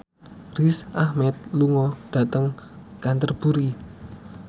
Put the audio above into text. Riz Ahmed lunga dhateng Canterbury